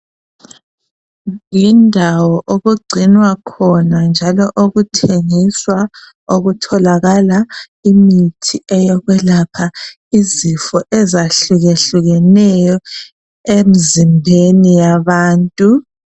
Yindawo okugcinwa khona njalo okuthengiswa okutholakala imithi eyokwelapha izifo ezahlukehlukeneyo emzimbeni yabantu.